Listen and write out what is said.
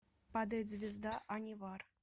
падает звезда анивар